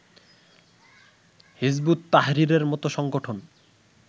হিযবুত তাহরীরের মতো সংগঠন